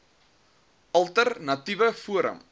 alter natiewe forum